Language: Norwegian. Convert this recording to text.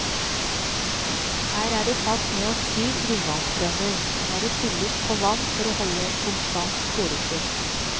Her er det satt ned syv grunnvannsbrønner, der det fylles på vann for å holde et konstant poretrykk.